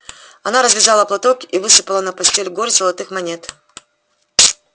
она развязала платок и высыпала на постель горсть золотых монет